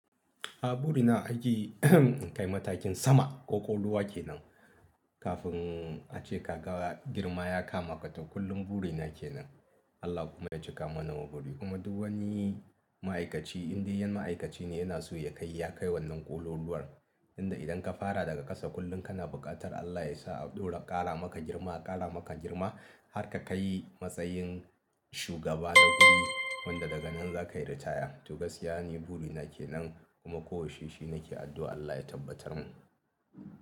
A buri na aji in kai matakin sama ko ƙoluwa ke nan. Kafin ace ka ga girma ya kama ka to kullun buri na ke nan. Allah kuma ya cika mana mabudi. Kuma duk wani ma'aikaci, indai yan--ma'aikaci ne yana so ya kai, ya kai wannan ƙololuwar. Tunda idan ka fara daga ƙasa kullum kana buƙatar Allah yasa ado-- a ƙara maka girma, a ƙara maka girma har ka kai matsayin shugaba na guri wanda daga nan za ka yi ritaya. To gaskiya ni buri na ke nan kuma ko yaushe shi nake addu'a Allah ya tabbatar mun.